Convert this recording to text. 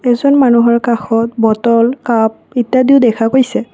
এইজন মানুহৰ কাষত বটল কাপ ইত্যাদিও দেখা গৈছে।